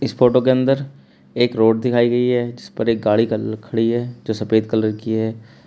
इस फोटो के अंदर एक रोड दिखाई गई है जिस पर एक गाड़ी कल खड़ी है जो सफेद कलर की है।